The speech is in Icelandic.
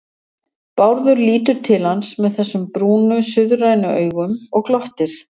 Bárður lítur til hans með þessum brúnu, suðrænu augum og glottir.